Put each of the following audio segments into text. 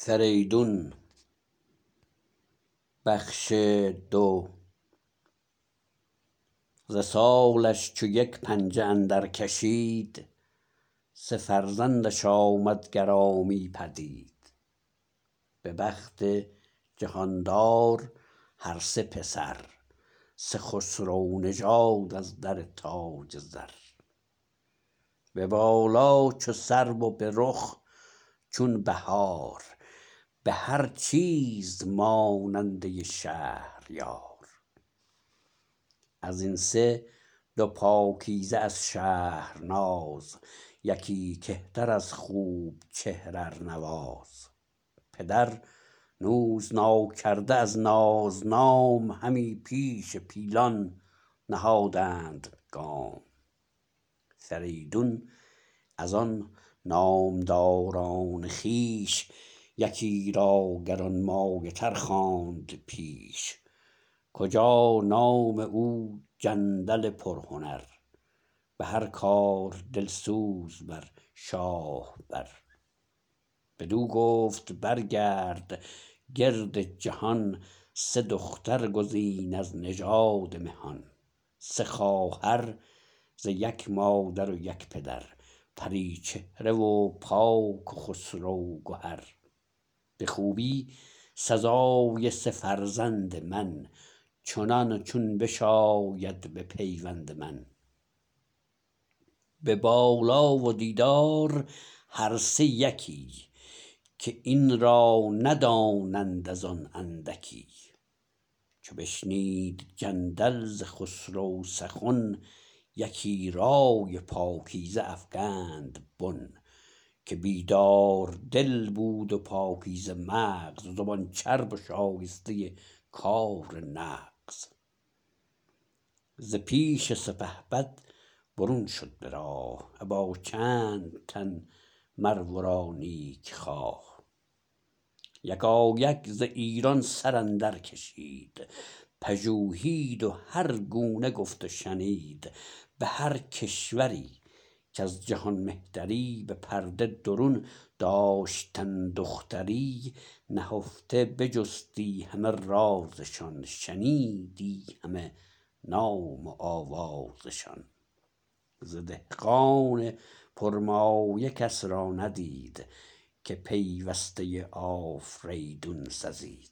ز سالش چو یک پنجه اندر کشید سه فرزند ش آمد گرامی پدید به بخت جهاندار هر سه پسر سه خسرو نژاد از در تاج زر به بالا چو سرو و به رخ چون بهار به هر چیز ماننده شهریار از این سه دو پاکیزه از شهرناز یکی کهتر از خوب چهر ارنواز پدر نوز ناکرده از ناز نام همی پیش پیلان نهادند گام فریدون از آن نامداران خویش یکی را گرانمایه تر خواند پیش کجا نام او جندل پرهنر به هر کار دلسوز بر شاه بر بدو گفت برگرد گرد جهان سه دختر گزین از نژاد مهان سه خواهر ز یک مادر و یک پدر پری چهره و پاک و خسرو گهر به خوبی سزای سه فرزند من چنان چون بشاید به پیوند من به بالا و دیدار هر سه یکی که این را ندانند ازان اندکی چو بشنید جندل ز خسرو سخن یکی رای پاکیزه افگند بن که بیدار دل بود و پاکیزه مغز زبان چرب و شایسته کار نغز ز پیش سپهبد برون شد به راه ابا چند تن مر ورا نیکخواه یکایک ز ایران سراندر کشید پژوهید و هرگونه گفت و شنید به هر کشوری کز جهان مهتری به پرده درون داشتن دختری نهفته بجستی همه راز شان شنیدی همه نام و آواز شان ز دهقان پر مایه کس را ندید که پیوسته آفریدون سزید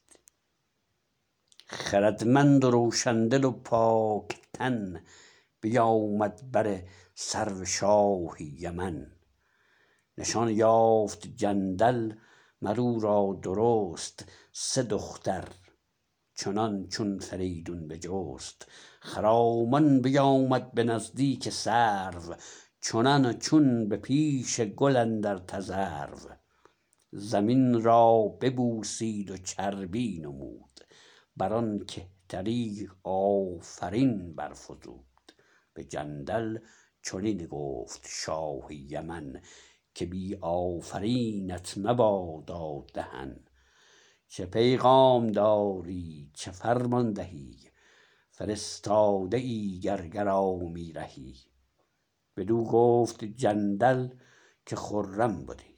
خردمند و روشن دل و پاک تن بیامد بر سرو شاه یمن نشان یافت جندل مر اورا درست سه دختر چنان چون فریدون بجست خرامان بیامد به نزدیک سرو چنان چون به پیش گل اندر تذرو زمین را ببوسید و چربی نمود برآن کهتری آفرین برفزود به جندل چنین گفت شاه یمن که بی آفرینت مبادا دهن چه پیغام داری چه فرمان دهی فرستاده ای گر گرامی رهی بدو گفت جندل که خرم بدی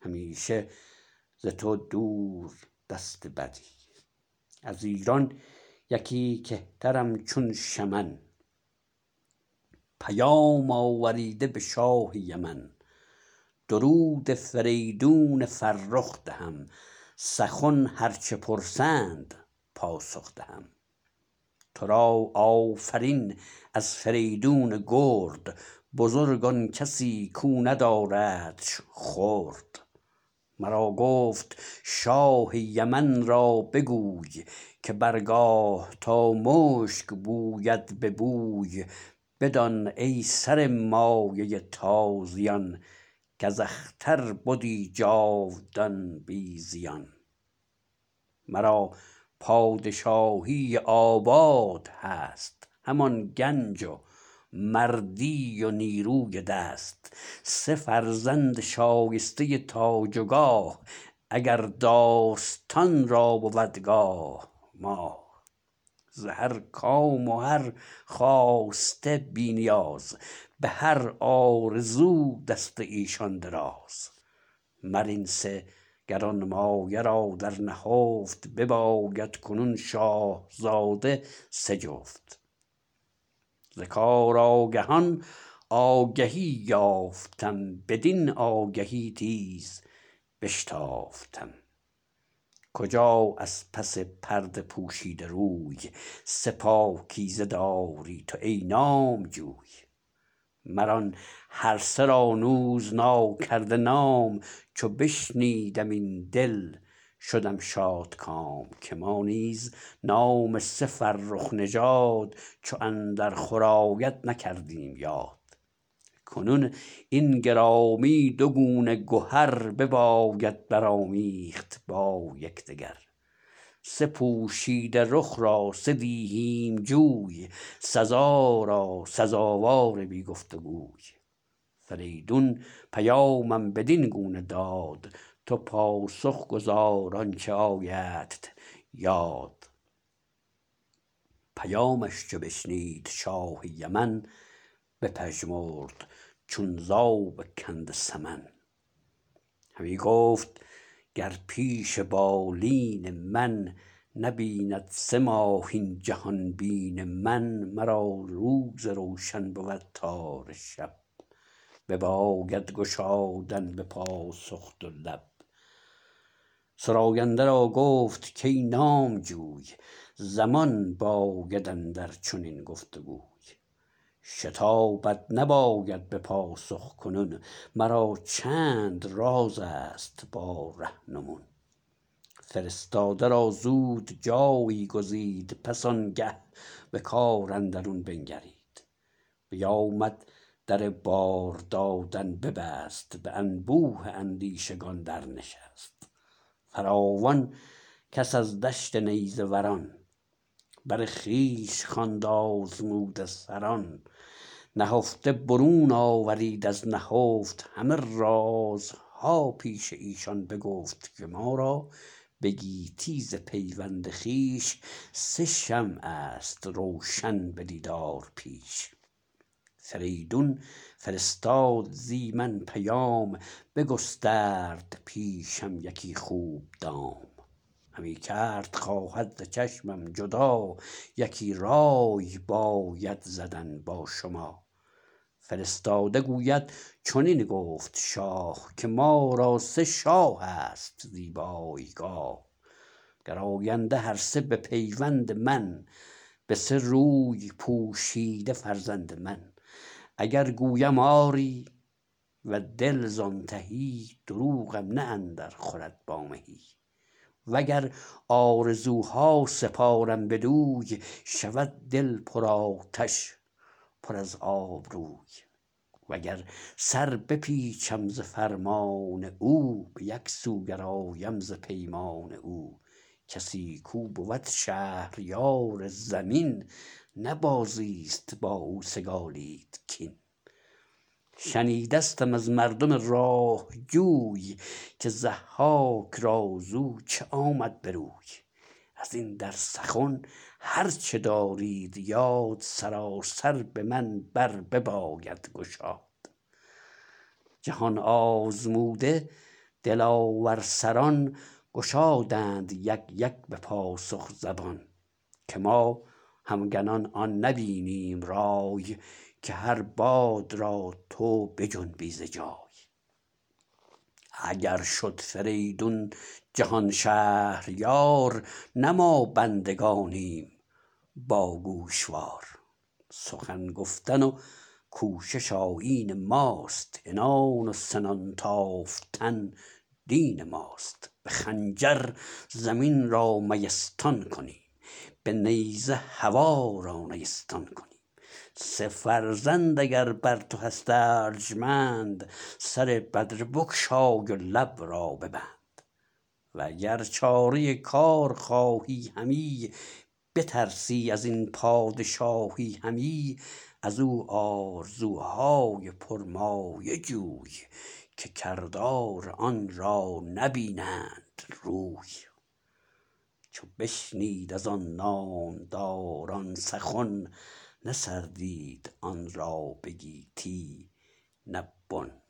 همیشه ز تو دور دست بدی از ایران یکی کهترم چون شمن پیام آوریده به شاه یمن درود فریدون فرخ دهم سخن هر چه پرسند پاسخ دهم ترا آفرین از فریدون گرد بزرگ آن کسی کو نداردش خرد مرا گفت شاه یمن را بگوی که بر گاه تا مشک بوید ببوی بدان ای سر مایه تازیان کز اختر بدی جاودان بی زیان مرا پادشاهی آباد هست همان گنج و مردی و نیروی دست سه فرزند شایسته تاج و گاه اگر داستان را بود گاه ماه ز هر کام و هر خواسته بی نیاز به هر آرزو دست ایشان دراز مر این سه گرانمایه را در نهفت بباید کنون شاهزاده سه جفت ز کار آگهان آگهی یافتم بدین آگهی تیز بشتافتم کجا از پس پرده پوشیده روی سه پاکیزه داری تو ای نامجوی مران هرسه را نوز ناکرده نام چو بشنیدم این دل شدم شادکام که ما نیز نام سه فرخ نژاد چو اندر خور آید نکردیم یاد کنون این گرامی دو گونه گهر بباید برآمیخت با یکدگر سه پوشیده رخ را سه دیهیم جوی سزا را سزاوار بی گفت وگوی فریدون پیامم بدین گونه داد تو پاسخ گزار آنچه آیدت یاد پیامش چو بشنید شاه یمن بپژمرد چون زاب کنده سمن همی گفت گر پیش بالین من نبیند سه ماه این جهان بین من مرا روز روشن بود تاره شب بباید گشادن به پاسخ دو لب سراینده را گفت کای نامجوی زمان باید اندر چنین گفت گوی شتابت نباید به پاسخ کنون مرا چند راز ست با رهنمون فرستاده را زود جایی گزید پس آنگه به کار اندرون بنگرید بیامد در بار دادن ببست به انبوه اندیشگان در نشست فراوان کس از دشت نیزه وران بر خویش خواند آزموده سران نهفته برون آورید از نهفت همه راز ها پیش ایشان بگفت که ما را به گیتی ز پیوند خویش سه شمع ست روشن به دیدار پیش فریدون فرستاد زی من پیام بگسترد پیشم یکی خوب دام همی کرد خواهد ز چشمم جدا یکی رای باید زدن با شما فرستاده گوید چنین گفت شاه که ما را سه شاه ست زیبای گاه گراینده هر سه به پیوند من به سه روی پوشیده فرزند من اگر گویم آری و دل زان تهی دروغم نه اندر خورد با مهی وگر آرزو ها سپارم بدوی شود دل پر آتش پر از آب روی وگر سر بپیچم ز فرمان او به یک سو گرایم ز پیمان او کسی کو بود شهریار زمین نه بازی ست با او سگالید کین شنیدستم از مردم راه جوی که ضحاک را زو چه آمد بروی ازین در سخن هر چه دارید یاد سراسر به من بر بباید گشاد جهان آزموده دلاور سران گشادند یک یک به پاسخ زبان که ما همگنان آن نبینیم رای که هر باد را تو بجنبی ز جای اگر شد فریدون جهان شهریار نه ما بندگانیم با گوشوار سخن گفتن و کوشش آیین ماست عنان و سنان تافتن دین ماست به خنجر زمین را میستان کنیم به نیزه هوا را نیستان کنیم سه فرزند اگر بر تو هست ارجمند سر بدره بگشای و لب را ببند و گر چاره کار خواهی همی بترسی ازین پادشاهی همی ازو آرزو های پرمایه جوی که کردار آنرا نبینند روی چو بشنید از آن نامداران سخن نه سر دید آن را به گیتی نه بن